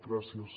gràcies